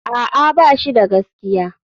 A'a, ba shi da gaskiya.